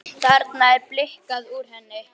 Þarna er blikkið úr henni.